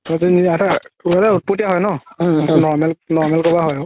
সিহত উতপতিয়া হয় ন সেইটো normal, normal কথা আৰু